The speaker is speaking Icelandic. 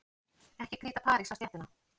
Ekki kríta parís á stéttina.